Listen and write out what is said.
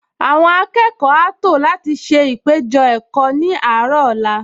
Àwọn akẹ́kọ̀ọ á tò láti ṣe ìpéjọ-ẹ̀kọ́ ní àárọ̀ ọ̀la